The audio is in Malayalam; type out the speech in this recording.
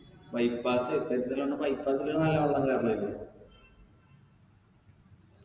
bypass bypass ല് നല്ല വെള്ളം കേറലില്ലേ